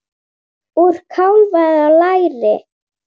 Úr kálfa eða læri!